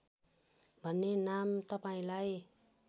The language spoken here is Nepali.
भन्ने नाम तपाईँलाई